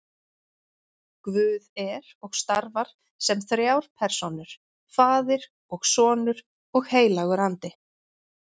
Guð er og starfar sem þrjár persónur, faðir og sonur og heilagur andi.